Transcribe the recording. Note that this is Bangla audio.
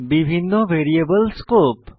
বিভিন্ন ভ্যারিয়েবল স্কোপ